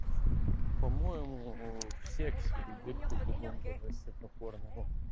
по-моему с сексе в любви другом возрасты покорны